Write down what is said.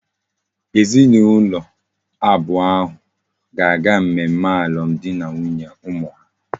Ezi na ulo abuo ahu ga aga mmemme alum di na nwunye umu ha